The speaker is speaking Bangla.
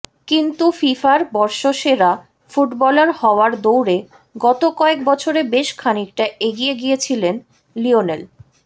কিন্তু ফিফার বর্ষসেরা ফুটবলার হওয়ার দৌড়ে গত কয়েক বছরে বেশ খানিকটা এগিয়ে গিয়েছিলেন লিওনেল